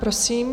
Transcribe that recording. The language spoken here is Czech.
Prosím.